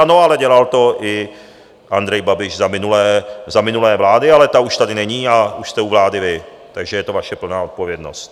Ano, ale dělal to i Andrej Babiš za minulé vlády, ale ta už tady není a už jste u vlády vy, takže je to vaše plná odpovědnost.